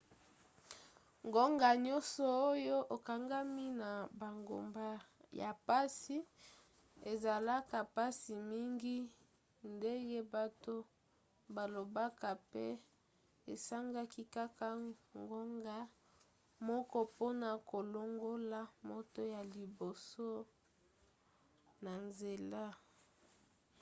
ngonga nyonso oyo okangami na bangomba ya mpasi ezalaka mpasi mingi ndenge bato balobaka pe esengaki kaka ngonga moko mpona kolongola moto ya liboso na nzela.